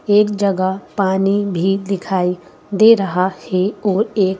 एक जगह पानी भी दिखाई दे रहा हैं ओर एक--